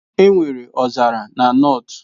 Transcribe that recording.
Enwere ọzara na North